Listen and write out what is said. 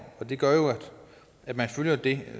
og det gør at man følger det